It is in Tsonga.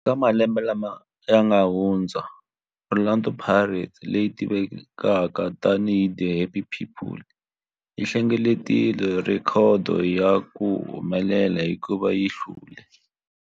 Eka malembe lawa yanga hundza, Orlando Pirates, leyi tivekaka tani hi 'The Happy People', yi hlengeletile rhekhodo ya ku humelela hikuva yi hlule